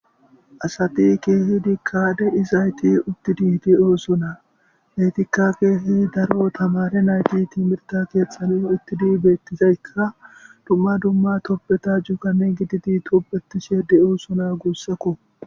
Asati kehidika deizaytti uttidi de'osona eetika kehidi daaro tamare nayti timirte keththan uttidi bettizaykka dumma dumma tobbeta cuugan cuugan giddidi tobbetishe de'ossona guussako.